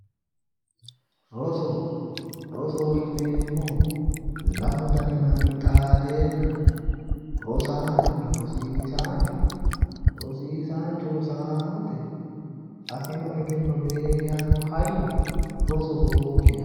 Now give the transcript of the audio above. Roso rosoho yineemmohu lamu dani manni xaadeenna rosaanonna rosiisaanchu rosiisaanchu rosaanote afino egenno beehanno hayyo rosoho yinanni